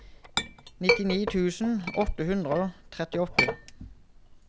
nitti tusen åtte hundre og trettiåtte